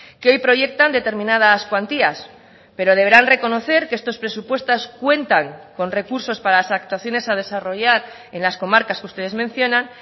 que hoy proyectan determinadas cuantías pero deberán reconocer que estos presupuestos cuentan con recursos para las actuaciones a desarrollar en las comarcas que ustedes mencionan